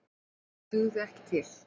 Það dugði ekki til.